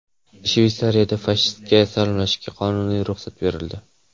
Shveysariyada fashistcha salomlashishga qonuniy ruxsat berildi.